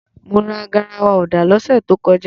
Mo ra garawa ọ̀dà lọ́sẹ̀ tó kọjá.